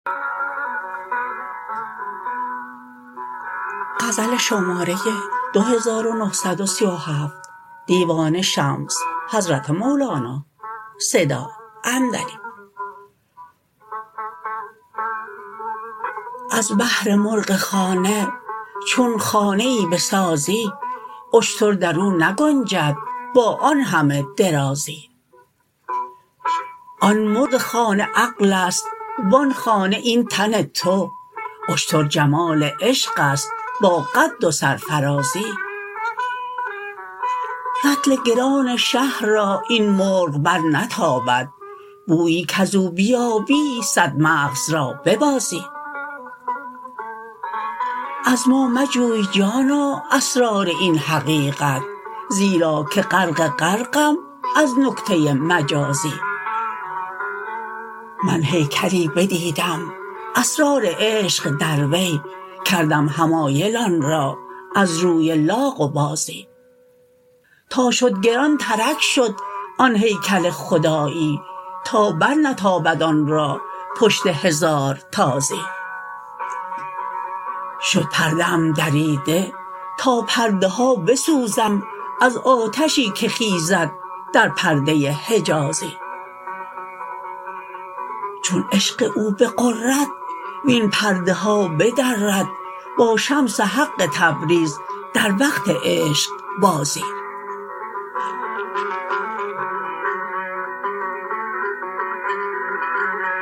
از بهر مرغ خانه چون خانه ای بسازی اشتر در او نگنجد با آن همه درازی آن مرغ خانه عقل است و آن خانه این تن تو اشتر جمال عشق است با قد و سرفرازی رطل گران شه را این مرغ برنتابد بویی کز او بیابی صد مغز را ببازی از ما مجوی جانا اسرار این حقیقت زیرا که غرق غرقم از نکته مجازی من هیکلی بدیدم اسرار عشق در وی کردم حمایل آن را از روی لاغ و بازی تا شد گرانترک شد آن هیکل خدایی تا برنتابد آن را پشت هزار تازی شد پرده ام دریده تا پرده ها بسوزم از آتشی که خیزد در پرده حجازی چون عشق او بغرد وین پرده ها بدرد با شمس حق تبریز در وقت عشقبازی